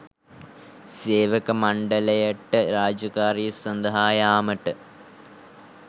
සේවක මණ්ඩලයට රාජකාරිය සදහා යාමට